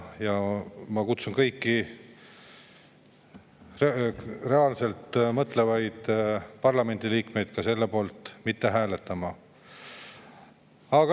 Ja ma kutsun kõiki mõtlevaid parlamendi liikmeid selle poolt mitte hääletama.